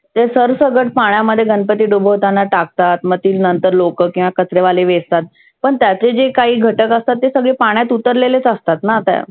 ते सरसगट गणपती पाण्यामध्ये डुबवताना टाकतात मग तीच नंतर लोकं किंवा कचरे वाले वेचतात. पण त्यातले जे काही घटक असतात ते सगळे पाण्यात उतरलेलेच असतात ना त्या.